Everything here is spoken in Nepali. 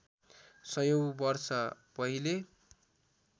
सयौँ वर्ष पहिले